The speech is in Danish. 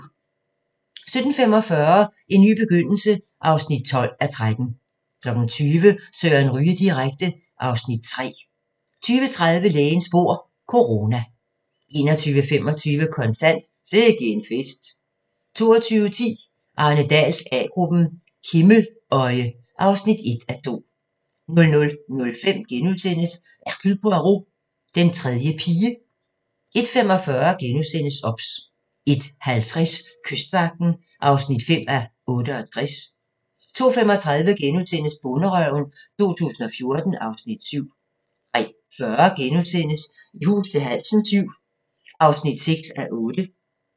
17:45: En ny begyndelse (12:13) 20:00: Søren Ryge direkte (Afs. 3) 20:30: Lægens bord - corona 21:25: Kontant: Sikke en fest 22:10: Arne Dahls A-gruppen: Himmeløje (1:2) 00:05: Hercule Poirot: Den tredje pige * 01:45: OBS * 01:50: Kystvagten (5:68) 02:35: Bonderøven 2014 (Afs. 7)* 03:40: I hus til halsen VII (6:8)*